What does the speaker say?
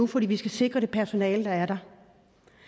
fordi vi skal sikre det personale der er der der